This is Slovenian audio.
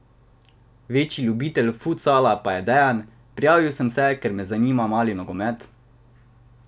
Večji ljubitelj futsala pa je Dejan: "Prijavil sem se, ker me zanima mali nogomet.